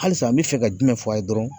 Halisa n bi fɛ ka jumɛn fɔ a ye dɔrɔn